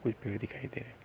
कोई पेड़ दिखाई दे रहा है।